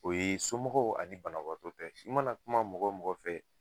O ye somɔgɔw ani banabaga ta ye i mana kuma mɔgɔ o mɔgɔ fɛ